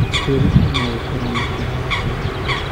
Kwĩrutĩra no gũkorwo na njĩra ya kwĩyaka.